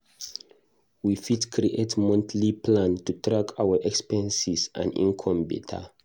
We fit create monthly plan to track our expenses and income beta.